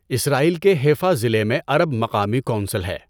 اسرائیل کے حیفا ضلع میں عرب مقامی کونسل ہے۔